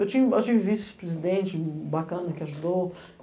Eu tive vice-presidente bacana, que ajudou.